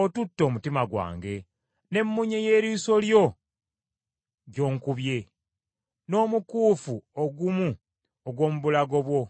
otutte omutima gwange, ne munye y’eriiso lyo gy’onkubye, n’omukuufu ogumu ogw’omu bulago bwo.